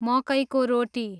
मकैको रोटी